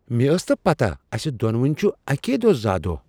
مےٚ ٲس نہٕ پتاہ اسہِ دونونی چھٗ اكی دوہ زا دوہ ۔